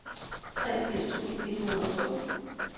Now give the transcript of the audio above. treogfirs tusind et hundrede og to